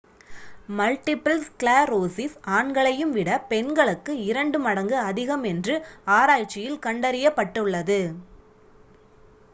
multiple sclerosis ஆண்களையும் விட பெண்களுக்கு இரண்டு மடங்கு அதிகம் என்று ஆராய்ச்சியில் கண்டறியப்பட்டுள்ளது